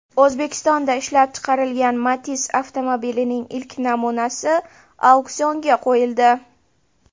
O‘zbekistonda ishlab chiqarilgan Matiz avtomobilining ilk namunasi auksionga qo‘yildi.